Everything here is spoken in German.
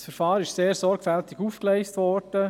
Das Verfahren ist sehr sorgfältig aufgegleist worden.